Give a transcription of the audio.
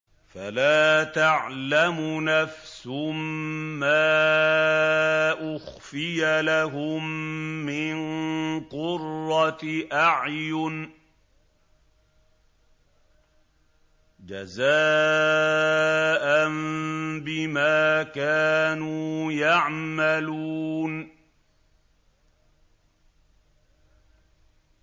فَلَا تَعْلَمُ نَفْسٌ مَّا أُخْفِيَ لَهُم مِّن قُرَّةِ أَعْيُنٍ جَزَاءً بِمَا كَانُوا يَعْمَلُونَ